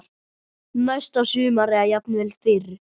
Næsta sumar eða jafnvel fyrr.